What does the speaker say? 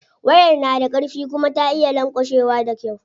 Wayar na da karfi kuma ta iya lanƙwashewa da kyau.